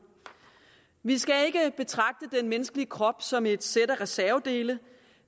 vi skal ikke betragte den menneskelige krop som et sæt af reservedele